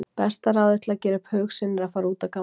Besta ráðið til að gera upp hug sinn er að fara út að ganga.